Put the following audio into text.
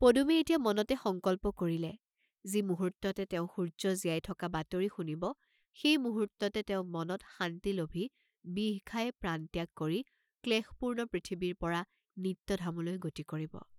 পদুমে এতিয়া মনতে সংকল্প কৰিলে যি মুহূৰ্ত্ততে তেওঁ সূৰ্য্য জীয়াই থকা বাতৰি শুনিব, সেই মুহূৰ্ত্ততে তেওঁ মনত শান্তি লভি বিহ খাই প্ৰাণত্যাগ কৰি ক্লেশপূৰ্ণ পৃথিৱীৰ পৰা নিত্যধামলৈ গতি কৰিব।